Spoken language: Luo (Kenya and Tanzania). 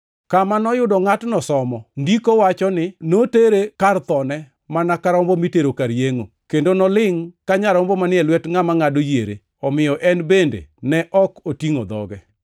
Kama noyudo ngʼatno somo ndiko kama wacho ni: “Notere kar thone mana ka rombo mitero kar yengʼo, kendo nolingʼ ka nyarombo manie lwet ngʼama ngʼado yiere, omiyo en bende ne ok otingʼo dhoge.